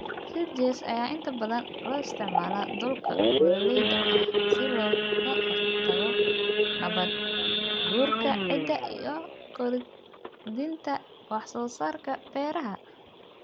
Ridges ayaa inta badan loo isticmaalaa dhulka buuraleyda ah si looga hortago nabaad-guurka ciidda iyo kordhinta wax soo saarka beeraha.